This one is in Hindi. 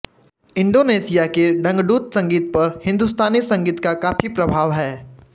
इंडोनेशिया के डंगडुत संगीत पर हिंदुस्तानी संगीत का काफ़ी प्रभाव है